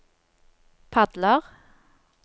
padler